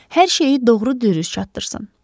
Hər şeyi doğru-düzgün çatdırsın.